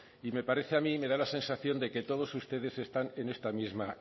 y me parece a mí me da la sensación de que todos ustedes están en esta misma